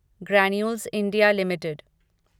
granules India limited